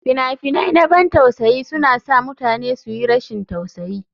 Fina-finan na ban tausayi suna sa mutane su yi rashin tausayi.